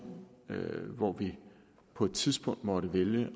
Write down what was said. hvor vi på et tidspunkt måtte vælge